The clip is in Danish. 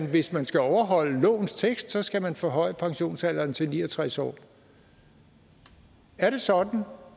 hvis man skal overholde lovens tekst skal man forhøje pensionsalderen til ni og tres år er det sådan